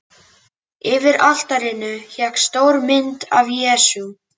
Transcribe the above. Yfir altarinu hékk stór mynd af Jesú.